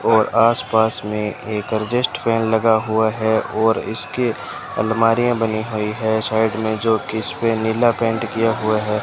और आसपास में एक अरजेस्ट फैन लगा हुआ है और इसके अलमारियां बनी हुई हैं साइड में जो कि इसपे नीला पेंट किया हुआ है।